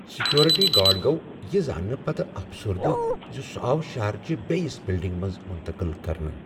Security guard گو یِہ زاننہٕ پتہٕ افسردہ زِ سُہ آو شہرچِہ بیٚیس بلڈنگہ منٛز منتقل کرنہٕ۔